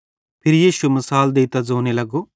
यीशु फिरी मसाल देइतां ज़ोने लगो